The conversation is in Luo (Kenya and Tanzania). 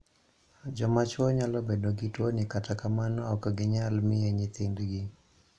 Joma chuo nyalo bedo gi tuoni kata kamano ok ginyal miye nyithind gi.